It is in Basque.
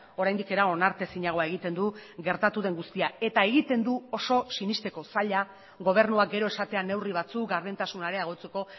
oraindik ere onartezinagoa egiten du gertatu den guztia eta egiten du oso sinesteko zaila gobernuak gero esatea neurri batzuk gardentasuna areagotzeko